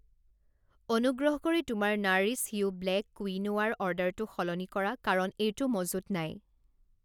অনুগ্ৰহ কৰি তোমাৰ নাৰিছ য়ু ব্লেক কুইনোৱা ৰ অৰ্ডাৰটো সলনি কৰা কাৰণ এইটো মজুত নাই।